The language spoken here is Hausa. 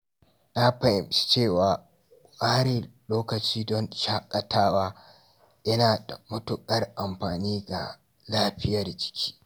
Na fahimci cewa ware lokaci don shaƙatawa yana da matuƙar amfani ga lafiyar jiki.